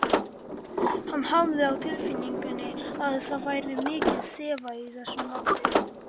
Hann hafði á tilfinningunni að það væri orðið kalt.